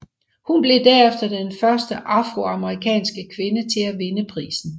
Hun blev derefter den første afroamerikanske kvinde til at vinde prisen